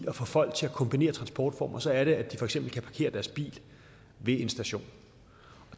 at få folk til at kombinere transportformer så er det at de for eksempel kan parkere deres bil ved en station